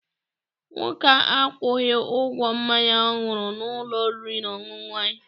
Nwoke a akwụghị ụgwọ mmanya ọ ṅụrụ n'ụlọ oriri na ọṅụṅụ anyị.